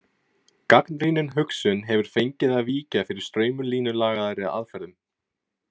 Gagnrýnin hugsun hefur fengið að víkja fyrir straumlínulagaðri aðferðum.